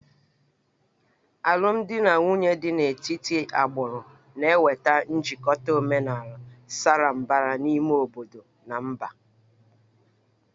Alụmdi na nwunye dị n'etiti agbụrụ na-enweta njikọta omenala sara mbara n'ime obodo na mba